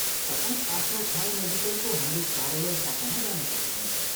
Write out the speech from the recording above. तपाईँ आफ्नो ठाउँ नजिकैको हाम्रो कार्यालय शाखामा जान सक्नुहुन्छ।